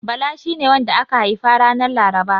Bala shine wanda aka haifa ranar Laraba.